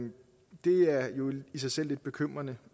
i sig selv lidt bekymrende